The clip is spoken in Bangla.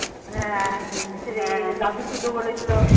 বাবু সুদ্ধু বলেছিলো